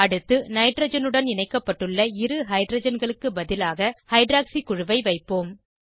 அடுத்து நைட்ரஜனுடன் இணைக்கப்பட்டுள்ள இரு ஹைட்ரஜன்களுக்கு பதிலாக ஹைட்ராக்சி குழுவை வைப்போம்